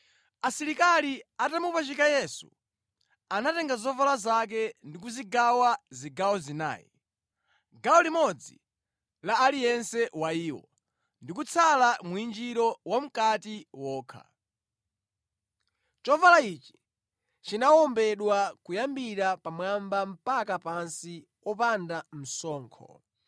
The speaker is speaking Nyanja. Asilikali atamupachika Yesu, anatenga zovala zake ndi kuzigawa zigawo zinayi, gawo limodzi la aliyense wa iwo, ndi kutsala mwinjiro wamʼkati wokha. Chovala ichi chinawombedwa kuyambira pamwamba mpaka pansi wopanda msoko.